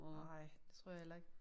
Nej det tror jeg heller ikke